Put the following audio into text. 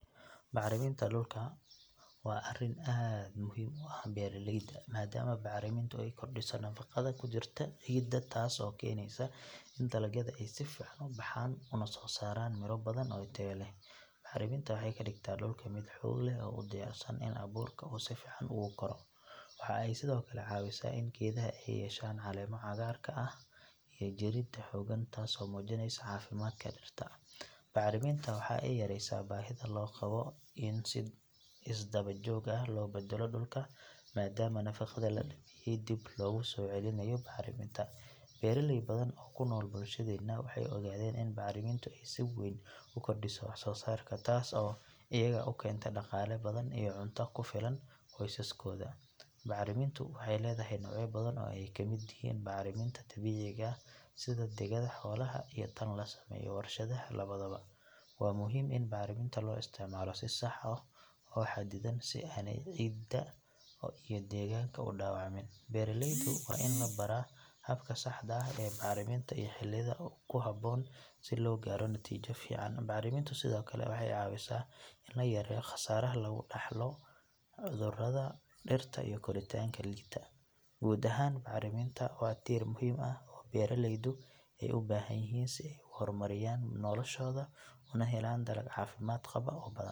Bacriminta dhulka waa arrin aad muhiim u ah beeraleyda maadaama bacrimintu ay kordhiso nafaqada ku jirta ciidda taas oo keenaysa in dalagyada ay si fiican u baxaan una soo saaraan miro badan oo tayo leh. Bacriminta waxay ka dhigtaa dhulka mid xoog leh oo u diyaarsan in abuurka uu si fiican ugu koro. Waxa ay sidoo kale caawisaa in geedaha ay yeeshaan caleemo cagaarka ah iyo jirid xooggan taasoo muujinaysa caafimaadka dhirta. Bacriminta waxa ay yareysaa baahida loo qabo in si isdaba joog ah loo beddelo dhulka maadaama nafaqada la dhameeyay dib loogu soo celinayo bacriminta. Beeraley badan oo ku nool bulshadeena waxay ogaadeen in bacrimintu ay si weyn u kordhiso wax soo saarka taas oo iyaga u keenta dhaqaale badan iyo cunto ku filan qoysaskooda. Bacrimintu waxay leedahay noocyo badan oo ay ka mid yihiin bacriminta dabiiciga ah sida digada xoolaha iyo tan la sameeyo warshadaha labadaba. Waa muhiim in bacriminta loo isticmaalo si sax ah oo xaddidan si aanay ciidda iyo deegaanka u dhaawacmin. Beeraleydu waa in la baraa habka saxda ah ee bacriminta iyo xilliyada ku habboon si loo gaaro natiijo fiican. Bacrimintu sidoo kale waxay caawisaa in la yareeyo khasaaraha laga dhaxlo cudurrada dhirta iyo koritaanka liita. Guud ahaan bacriminta waa tiir muhiim ah oo beeraleydu ay u baahan yihiin si ay u horumariyaan noloshooda una helaan dalag caafimaad qaba oo badan.